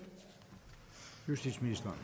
justitsministeren